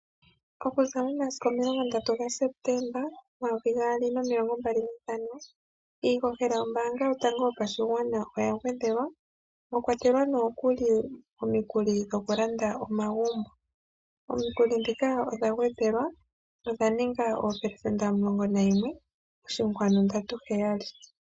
Okuza omasiku omilongo ndantu gaSeptemba omayovi gaali nomilongo mbali nane iihohela yombanga yotango yopashigwana oya gwedhelwa mwa kwatelwa nokuli omikuli dhokulanda omagumbo. Omikuli ndhika odha gwedhelwa nodha ninga oopelesenda omulongo nagumwe oshinkwanu ndatu heyali.